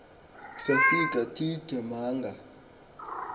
safika teethe manga